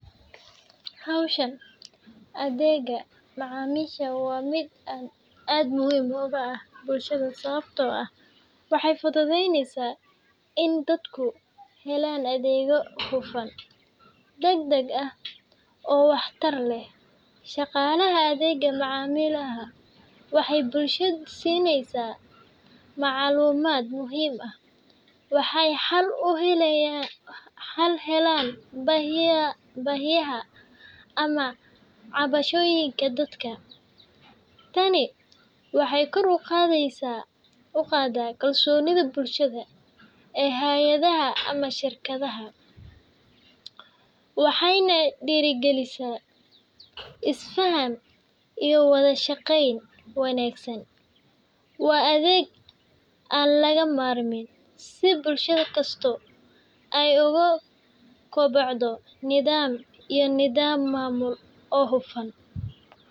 Hawsha adeegga macaamiisha waa mid aad muhiim ugu ah bulshada sababtoo ah waxay fududeyneysaa in dadku helaan adeeg hufan, degdeg ah, oo waxtar leh. Shaqaalaha adeegga macaamiisha waxay bulshada siiyaan macluumaad muhiim ah, waxayna xal u helaan baahiyaha ama cabashooyinka dadka. Tani waxay kor u qaaddaa kalsoonida bulshada ee hay’adaha ama shirkadaha, waxayna dhiirrigelisaa isfaham iyo wada shaqeyn wanaagsan. Waa adeeg aan laga maarmin si bulsho kasta ay ugu kobocdo nidaam iyo nidaam maamul oo hufan